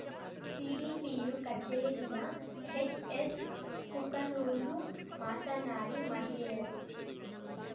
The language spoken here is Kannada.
ಸಿಡಿಪಿಯು ಕಚೇರಿಯ ಹೆಚ್ಎಸ್ಕುಕನೂರು ಮಾತನಾಡಿ ಮಹಿಳೆಯರು